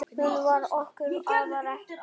Hún var okkur afar kær.